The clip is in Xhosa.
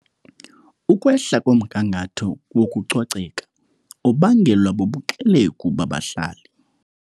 Ukwehla komgangatho wokucoceka ubangelwa bubuxelegu babahlali.